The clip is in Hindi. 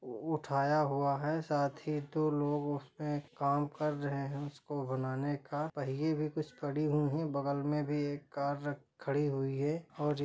वो उठाया हुआ है साथी दो लोग उसपे काम कर रहे है उसको बनाने का पहिये भी कुछ पड़े हुए है बगल में एक कार भी खड़ी हुई है।